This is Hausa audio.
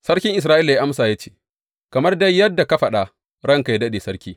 Sarkin Isra’ila ya amsa, ya ce, Kamar dai yadda ka faɗa, ranka yă daɗe, sarki.